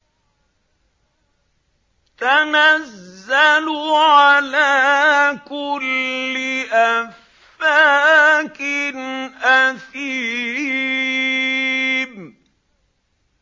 تَنَزَّلُ عَلَىٰ كُلِّ أَفَّاكٍ أَثِيمٍ